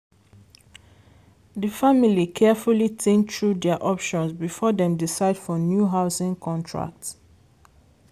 di family carefully think through dia options before dem decide for new housing contract.